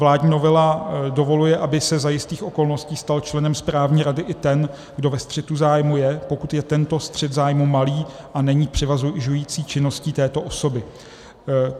Vládní novela dovoluje, aby se za jistých okolností stal členem správní rady i ten, kdo ve střetu zájmů je, pokud je tento střet zájmů malý a není převažující činností této osoby.